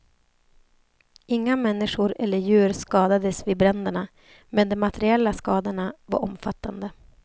Inga människor eller djur skadades vid bränderna men de materiella skadorna var omfattande.